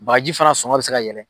Bagaji fana sɔngɔ bɛ se ka yɛlɛ.